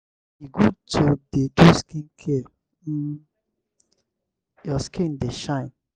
e good to dey do skincare make um your skin dey shine